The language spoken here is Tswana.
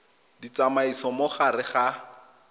di tsamaisa mo gare ga